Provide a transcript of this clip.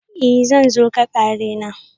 I! zan zo ka kare na.